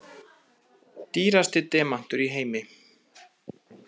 Dýrasti demantur í heimi